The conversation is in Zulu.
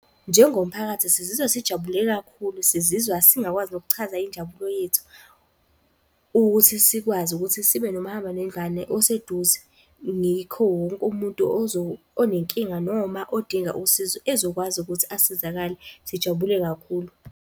Njengomphakathi, sizizwa sijabule kakhulu, sizizwa singakwazi nokuchaza injabulo yethu, ukuthi sikwazi ukuthi sibe nomahambanendlwane oseduze. Ngikho wonke umuntu onenkinga, noma odinga usizo ezokwazi ukuthi asizakale. Sijabule kakhulu.